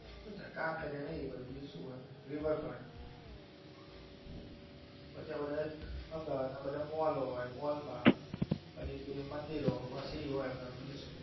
કાંકરિયા એ બધું બીજું સુ હોય river front પછી આ બધા અમદાવાદ ના બધા મોલ હોય મોલ માંપછી બે મંદિરો બસ બીજું સુ હોય.